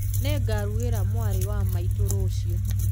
Nĩngarugĩra mwarĩ wa maitũ rũciũ